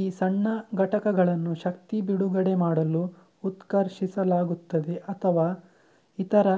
ಈ ಸಣ್ಣ ಘಟಕಗಳನ್ನು ಶಕ್ತಿ ಬಿಡುಗಡೆಮಾಡಲು ಉತ್ಕರ್ಷಿಸಲಾಗುತ್ತದೆ ಅಥವಾ ಇತರ